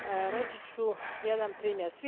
Reći ću jedan primjer.